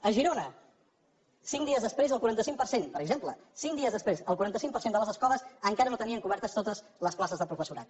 a girona cinc dies després el quaranta cinc per cent per exemple cinc dies després el quaranta cinc per cent de les escoles encara no tenien cobertes totes les places de professorat